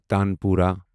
tanpura